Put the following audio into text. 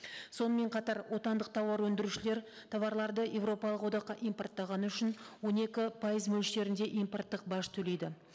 сонымен қатар отандық тауар өндірушілері тауарларды еуропалық одаққа импорттағаны үшін он екі пайыз мөлшерінде импорттық баж төлейді